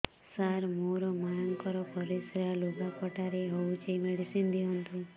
ସାର ମୋର ମାଆଙ୍କର ପରିସ୍ରା ଲୁଗାପଟା ରେ ହଉଚି ମେଡିସିନ ଦିଅନ୍ତୁ